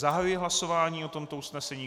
Zahajuji hlasování o tomto usnesení.